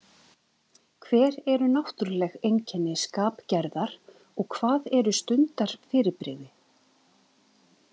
Hver eru náttúrleg einkenni skapgerðar og hvað eru stundarfyrirbrigði.